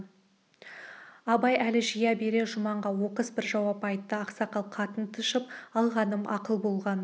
абай әл жия бере жұманға оқыс бір жауап айтты ақсақал қатын тышып алғаным ақыл болған